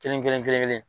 Kelen kelen kelen kelen